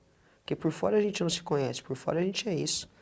Porque por fora a gente não se conhece, por fora a gente é isso.